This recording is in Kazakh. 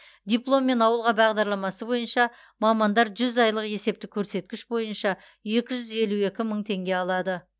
дипломмен ауылға бағдарламасы бойынша мамандар жүз айлық есептік көрсеткіш бойынша екі жүз елу екі мың теңге алады